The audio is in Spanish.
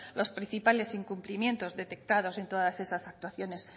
los principales incumplimientos detectados en todas estas actuaciones